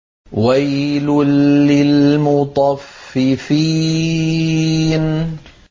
وَيْلٌ لِّلْمُطَفِّفِينَ